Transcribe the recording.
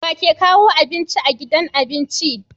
wake kawo abinci a gidan abinci